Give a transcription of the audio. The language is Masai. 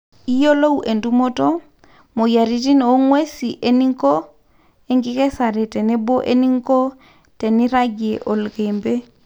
iyiolou entumoto, moyiaritin o nguesi eninkoo, enkikesare tenebo eninko teniragie oloikembe